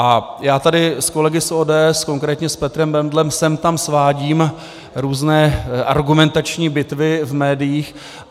A já tady s kolegy z ODS, konkrétně s Petrem Bendlem, sem tam svádím různé argumentační bitvy v médiích.